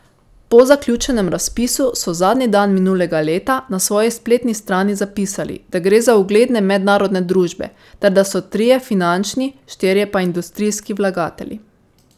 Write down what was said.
Po zaključenem razpisu so zadnji dan minulega leta na svoji spletni strani zapisali, da gre za ugledne mednarodne družbe ter da so trije finančni, štirje pa industrijski vlagatelji.